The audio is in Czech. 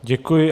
Děkuji.